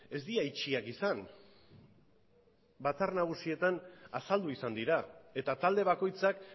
ez dira itxiak izan batzar nagusietan azaldu izan dira eta talde bakoitzak